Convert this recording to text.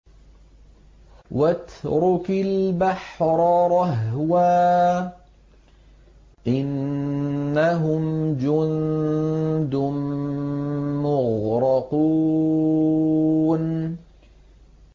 وَاتْرُكِ الْبَحْرَ رَهْوًا ۖ إِنَّهُمْ جُندٌ مُّغْرَقُونَ